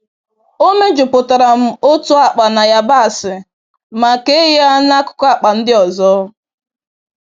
E mejupụtara m otu akpa na yabasị ma kee ya n'akụkụ akpa ndị ọzọ.